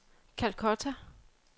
Calcutta